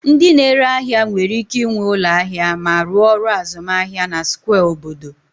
Ndị na-ere ahịa nwere ike ịnwe ụlọ ahịa ma rụọ ọrụ azụmahịa na square obodo